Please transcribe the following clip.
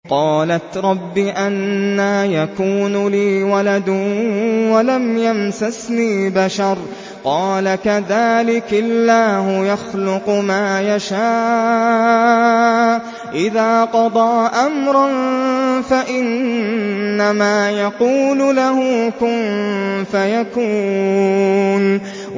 قَالَتْ رَبِّ أَنَّىٰ يَكُونُ لِي وَلَدٌ وَلَمْ يَمْسَسْنِي بَشَرٌ ۖ قَالَ كَذَٰلِكِ اللَّهُ يَخْلُقُ مَا يَشَاءُ ۚ إِذَا قَضَىٰ أَمْرًا فَإِنَّمَا يَقُولُ لَهُ كُن فَيَكُونُ